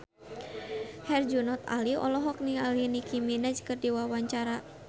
Herjunot Ali olohok ningali Nicky Minaj keur diwawancara